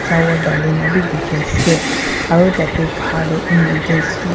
flower dali na bi dekhi ase aro tate bahar tey emergency --